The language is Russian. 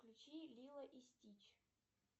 включи лило и стич